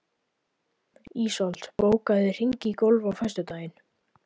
Ísold, bókaðu hring í golf á föstudaginn.